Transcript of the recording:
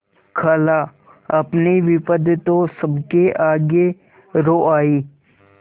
खालाअपनी विपद तो सबके आगे रो आयी